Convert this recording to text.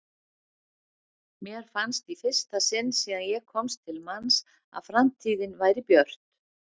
Mér fannst í fyrsta sinn síðan ég komst til manns að framtíðin væri björt.